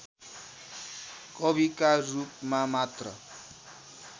कविका रूपमा मात्र